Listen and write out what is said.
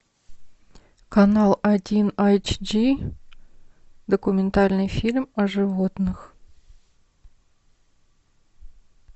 канал один айч ди документальный фильм о животных